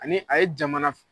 Anii a ye jamana